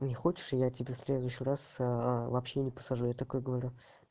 не хочешь и я тебе в следующий раз вообще не посажу я такой говорю